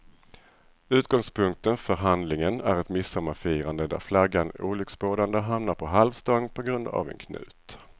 Utgångspunkten för handlingen är ett midsommarfirande där flaggan olycksbådande hamnar på halv stång på grund av en knut.